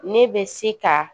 Ne bɛ se ka